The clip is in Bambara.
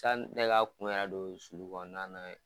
Tan ne ka kun yɛrɛ don sulukɔnɔna na ye.